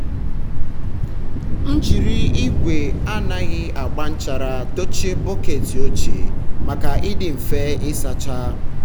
a na-agba mbọ ehi kwa ọnwa iji nọgide na-enwe ntụsara ahụ n'oge ịmị mmiri ara.